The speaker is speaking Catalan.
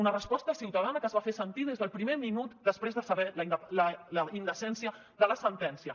una resposta ciutadana que es va fer sentir des del primer minut després de saber la indecència de la sentència